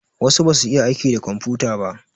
Wasu basu iya aiki da komfuta ba.